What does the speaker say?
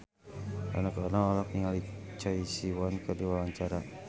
Rano Karno olohok ningali Choi Siwon keur diwawancara